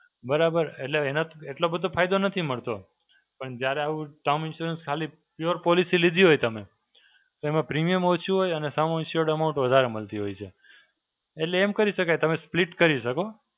બરાબર? એટલે એના એટલો બધો ફાયદો નથી મળતો. પણ જ્યારે આવું Term Insurance ખાલી Pure Policy લીધી હોય તમે, તો એમાં premium ઓછું હોય અને Sum Assured Amount વધારે મળતી હોય છે. એટલે એમ કરી શકાય તમે Split કરી શકો.